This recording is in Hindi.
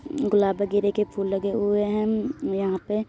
गुलाब वगिरे के फूल लगे हुए हम्म यहाँ पे।